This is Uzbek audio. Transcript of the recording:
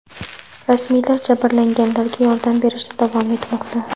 Rasmiylar jabrlanganlarga yordam berishda davom etmoqda.